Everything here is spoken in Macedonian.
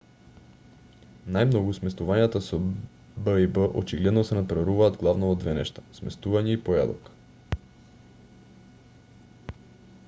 најмногу сместувањата со б&б очигледно се натпреваруваат главно во две нешта сместување и појадок